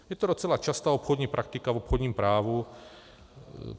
Je to docela častá obchodní praktika v obchodním právu.